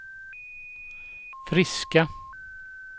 friska